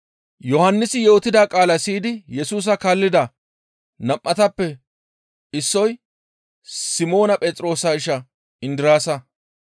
Yohannisi yootida qaalaa siyidi Yesusa kaallida nam7atappe issoy Simoona Phexroosa isha Indiraasa.